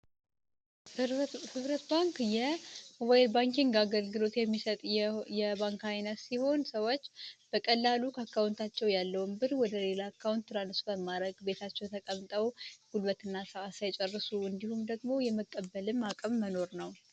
ሞባይል ባንኪንግ አገልግሎት የሚሰጥ የባንክ አይነት ሲሆን ሰዎች በቀላሉ አካውንታቸው ያለውን ብር ወደ ሌላ አካውንት transfer ጉልበት ሳይጨርሱ እንዲሁም ደግሞ የመቀበልም አቅም መኖር ነው